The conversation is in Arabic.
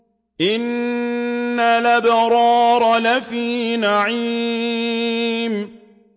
إِنَّ الْأَبْرَارَ لَفِي نَعِيمٍ